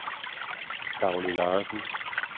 Dagny Larsen